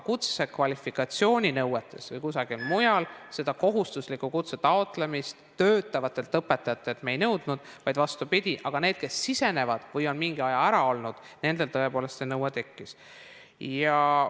Kutsekvalifikatsiooninõuetes või kusagil mujal me seda kohustuslikku kutse taotlemist töötavatelt õpetajatelt ei nõudnud, aga nendel, kes alustavad või on mingi aja ära olnud, tõepoolest see nõue tekkis.